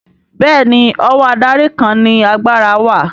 Bẹ́ẹ̀ni ọwọ́ adarí kan ni agbára wà